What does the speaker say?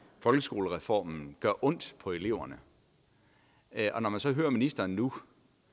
folkeskolereformen gør ondt på eleverne og man så hører ministeren nu